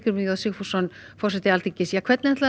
j Sigfússon forseti Alþingis hvernig ætlið